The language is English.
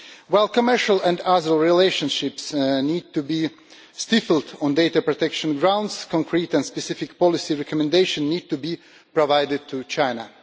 While commercial and other relationships need to be stifled on data protection grounds, concrete and specific policy recommendations need to be provided to China.